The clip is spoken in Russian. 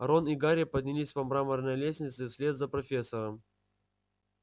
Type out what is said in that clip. рон и гарри поднялись по мраморной лестнице вслед за профессором